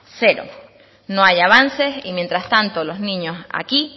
cero no hay avances y mientras tanto los niños aquí